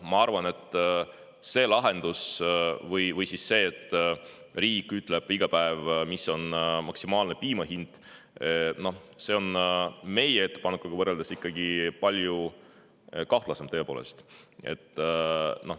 Ma arvan, et see lahendus või see, et riik ütleb iga päev, mis on maksimaalne piima hind, on meie ettepanekuga võrreldes ikkagi palju kahtlasem, tõepoolest.